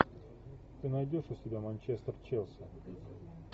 ты найдешь у себя манчестер челси